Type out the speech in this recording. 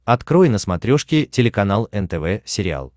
открой на смотрешке телеканал нтв сериал